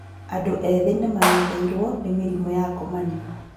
Andũ ethĩ nĩmang'etheirwo nĩ mĩrimũ ya ngomanio